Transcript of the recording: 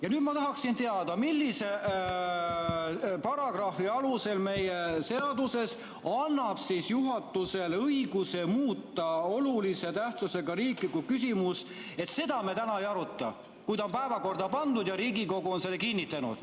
Ja nüüd ma tahaksin teada, milline paragrahv meie seaduses annab juhatusele õiguse muuta olulise tähtsusega riiklikku küsimust nii, et seda me täna ei aruta, kui ta on päevakorda pandud ja Riigikogu on selle kinnitanud.